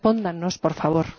Respóndannos, por favor.